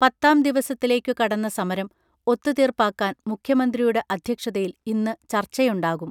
പത്താം ദിവസത്തിലേക്കു കടന്ന സമരം ഒത്തുതീർപ്പാക്കാൻ മുഖ്യമന്ത്രിയുടെ അധ്യക്ഷതയിൽ ഇന്നു ചർച്ചയുണ്ടാകും